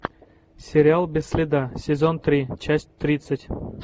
сериал без следа сезон три часть тридцать